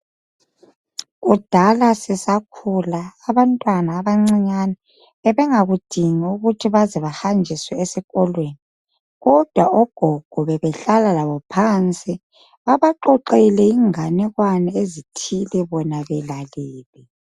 Kudala sisakhula, abantwana abancinyane bebengakudingi ukuthi baze bahanjiswe esikolweni, kodwa ogogo bebehlala labo phansi babaxoxele inganekwane ezithile bona belalele.